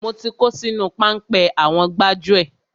Mo ti kó sínú páńpẹ́ àwọn gbájúẹ̀.